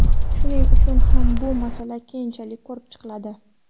Shuning uchun ham bu masala keyinchalik ko‘rib chiqiladi.